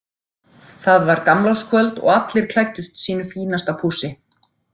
Það var gamlárskvöld og allir klæddust sínu fínasta pússi.